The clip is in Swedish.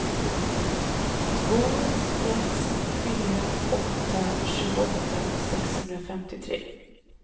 två sex fyra åtta tjugoåtta sexhundrafemtiotre